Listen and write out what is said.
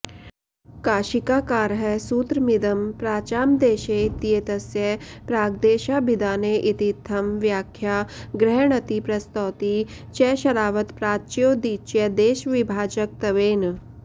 काशिकाकारः सूत्रमिदं प्राचां देशे इत्येतस्य प्राग्देशाभिधाने इतीत्थं व्याख्या गृह्णाति प्रस्तौति च शरावत प्राच्योदीच्यदेशविभाजकत्वेन